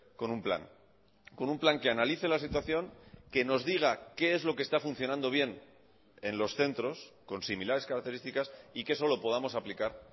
con un plan con un plan que analice la situación que nos diga qué es lo que está funcionando bien en los centros con similares características y que eso lo podamos aplicar